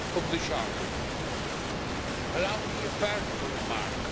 the Charter. Allow me a personal remark.